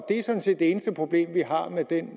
er sådan set det eneste problem vi har med det